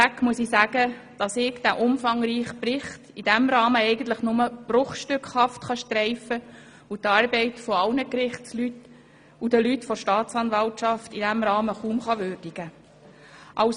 Vorab muss ich sagen, dass ich den umfangreichen Bericht in diesem Rahmen nur bruchstückhaft streifen und die Arbeit aller Mitarbeitenden der Gerichte und der Staatsanwaltschaft in diesem Rahmen kaum würdigen kann.